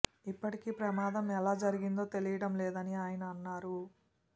ఇప్పటికీ ప్రమాదం ఎలా జరిగిందో తెలియడం లేదని ఆయన అన్నారు